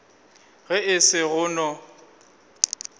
ge e se go no